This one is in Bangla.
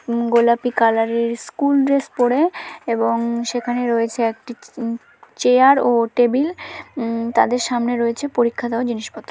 গোলাপি কালার এর স্কুল ড্রেস পড়ে | এবং সেখানে রয়েছে একটি চেয়ার ও টেবিল | তাদের সামনে রয়েছে পরীক্ষা দেওয়া জিনিসপত্র।